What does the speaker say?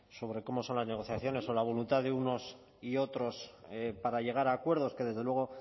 sobre cómo son las negociaciones o la voluntad de unos y otros para llegar a acuerdos que desde luego